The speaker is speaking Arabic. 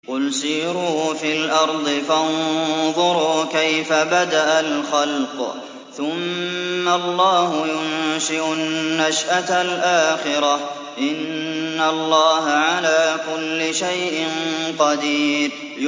قُلْ سِيرُوا فِي الْأَرْضِ فَانظُرُوا كَيْفَ بَدَأَ الْخَلْقَ ۚ ثُمَّ اللَّهُ يُنشِئُ النَّشْأَةَ الْآخِرَةَ ۚ إِنَّ اللَّهَ عَلَىٰ كُلِّ شَيْءٍ قَدِيرٌ